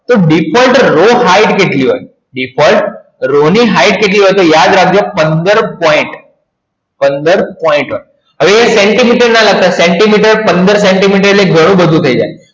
તો default row hight કેટલી હોય તો યાદ રાખજો પંદર point પંદર point હવે અહિયાં સેન્ટીમીટર ના લગતા પંદર સેન્ટીમીટર એટલે ઘણું બધું થઈ જાય